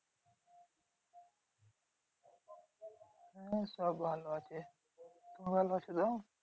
হম সব ভালো আছে